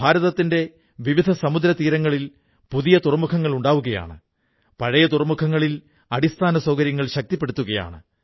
ഭാരതത്തിന്റെ വിവിധ സമുദ്രതീരങ്ങളിൽ പുതിയ തുറമുഖങ്ങൾ ഉണ്ടാവുകയാണ് പഴയ തുറമുഖങ്ങളിൽ അടിസ്ഥാനസൌകര്യങ്ങൾ ശക്തിപ്പെടുത്തുകയാണ്